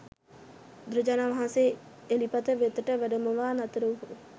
බුදුරජාණන් වහන්සේ එළිපත වෙතට වැඩමවා නතර වූහ.